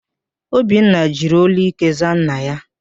Obinna jiri ólú íké zaa nna ya.